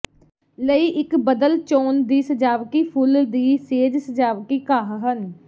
ਲਈ ਇੱਕ ਬਦਲ ਚੋਣ ਦੀ ਸਜਾਵਟ ਫੁੱਲ ਦੀ ਸੇਜ ਸਜਾਵਟੀ ਘਾਹ ਹਨ